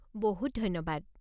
বহুত ধন্যবাদ।